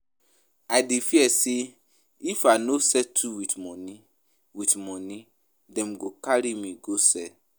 I dey fear sey if I no settle wit moni wit moni dem go carry me go cell.